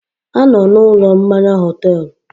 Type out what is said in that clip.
Ha nọ na ụlọ mmanya họtel